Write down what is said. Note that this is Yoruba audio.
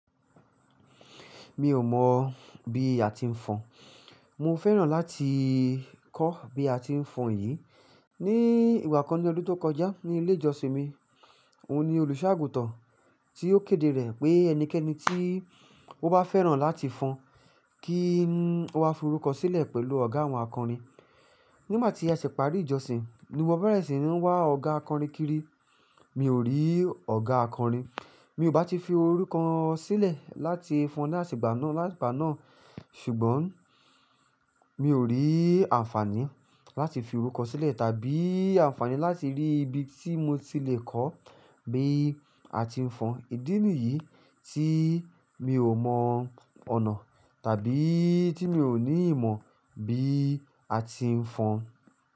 Mi ò mọ̀ bí a ti ń fọn. Mo fẹ́ràn láti kọ́ bí a ti ń fọn yìí. Ni ìgbà kan ní ọdún tó kọjá ní ilé ìjọsìn mi, òun ni olùṣọ́-àgùntàn tí ó kéde rẹ̀ pé ẹnikẹ́ni tí ó bá fẹ́ràn láti fọn kí ó wá fi orúkọ sílẹ̀ pẹ̀lú ọ̀gá àwọn akọrin. Nígbà tí a ṣẹ̀ pàrí ìjọsìn, ni mo bẹ̀rẹ̀ sí ní wá ọ̀gá akọrin kiri, mi ò rí ọ̀gá akọrin. Mi ò bá ti fi orúkọ sílẹ̀ láti fọn láṣìgbà náà, ṣùgbọ́n mi ò rí àǹfààní láti fi orúkọ sílẹ̀ tàbí àǹfààní láti rí ibi tí mo ti lè kọ́ bí a ti ń fọn. Ìdí nìyí tí mi ò mọ ọ̀nà tàbí tí mi ò ní ìmọ̀ bí a ti ń fọn.